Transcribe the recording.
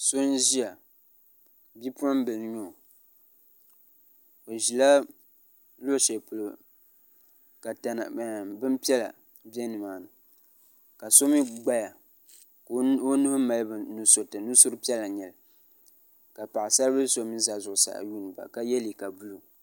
so n ʒɛya bi moɣigim bi n nyɛ o ʒɛla kuɣ' shɛli polo ka bɛn piɛla bɛ ni maani ka so mi gbaya ka o nuuhi mali nusuritɛ nuri piɛla n nyɛli ka paɣ' sari bili so mi za zuɣ' saa yuni la yɛ liga bulu